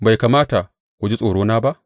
Bai kamata ku ji tsorona ba?